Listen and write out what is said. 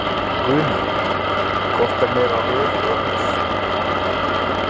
Guðný: Hvort er meira röð eða hús?